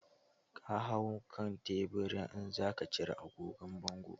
Ka hau kan teburin in zaka cire agogon bangon.